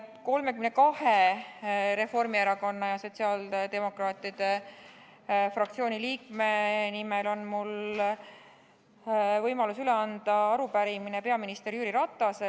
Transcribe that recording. Mul on 32 Eesti Reformierakonna ja Sotsiaaldemokraatliku Erakonna fraktsiooni liikme nimel üle anda arupärimine peaminister Jüri Ratasele.